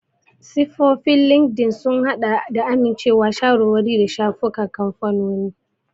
Siffofin Linkedln sun haɗa da amincewa, shawarwari, da shafukan kamfanoni.